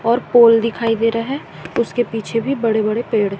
और पोल दिखाई दे रहा है उसके पीछे भी बड़े बड़े पेड़--